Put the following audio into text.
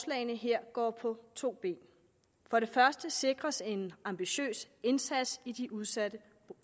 her går på to ben for det første sikres en ambitiøs indsats i de udsatte